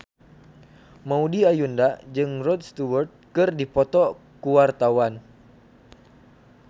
Maudy Ayunda jeung Rod Stewart keur dipoto ku wartawan